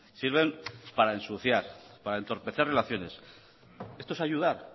sirven para ensuciar para entorpecer relaciones esto es ayudar